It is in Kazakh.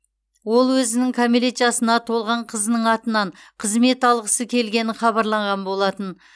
ол өзінің кәмелет жасына толған қызының атынан қызмет алғысы келгені хабарланған болатын